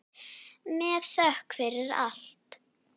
Með þökk fyrir allt.